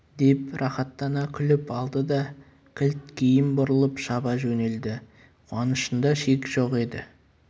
деп рақаттана күліп алды да кілт кейін бұрылып шаба жөнелді қуанышында шек жоқ еді